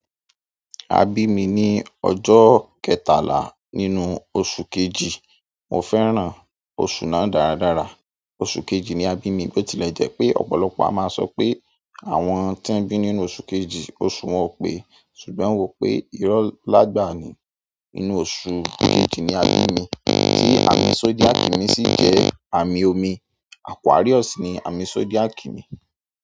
A bí mi ní ọjọ́ kẹtalá nínú oṣù kejì. Mo fẹ́ràn oṣù náà dáradára. Oṣù kejì ni a bí mi, bó tilẹ̀ jẹ́ pé ọ̀pọ̀lọpọ̀ a máa sọ pé àwọn tí wọ́n bí nínú oṣù kejì, oṣù wọn o pẹ. Ṣùgbọ́n mo rò pé ìrọ́ n lá gbaà ni. Nínú oṣù kejì ni a bí mi, tí àmì zodiac mi sì jẹ́ àmì omi. Aquarius ni àmì zodiac mi.